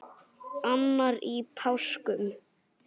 annar í páskum